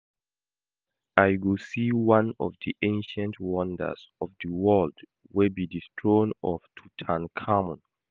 I go see one of the ancient wonders of the world wey be the throne of Tutankhamun